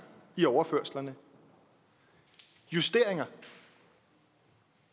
i overførslerne justeringer